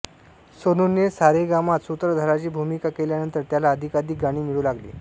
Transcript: सोनूने सारेगामात सूत्रधाराची भूमिका केल्यानंतर त्याला अधिकाधिक गाणी मिळू लागली